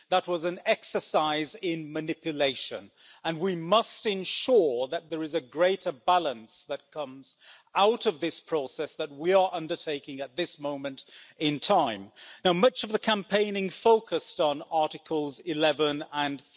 That was an exercise in manipulation, and we must ensure that there is a greater balance that comes out of this process that we are undertaking at this moment in time. Much of the campaigning focused on Articles 11 and